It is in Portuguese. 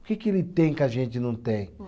O que que ele tem que a gente não tem?